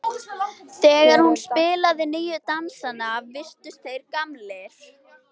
Þegar hún spilaði nýju dansana virtust þeir gamlir.